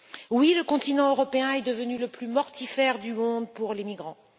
Oui, le continent européen est devenu le plus mortifère du monde pour les migrants.